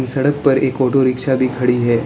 सड़क पर एक ऑटो रिक्शा भी खड़ी है।